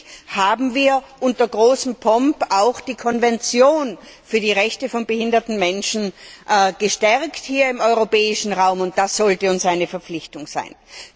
Schließlich haben wir unter großem Pomp auch die Konvention für die Rechte von behinderten Menschen im europäischen Raum gestärkt, und das sollte uns eine Verpflichtung sein.